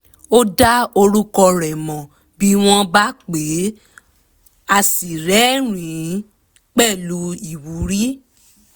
ó dá orúkọ rẹ̀ mọ̀ bí wọ́n bá pè é a sì rẹ́rìn-ín pẹ̀lú ìwúrí